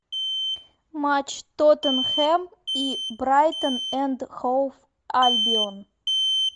матч тоттенхэм и брайтон энд хоув альбион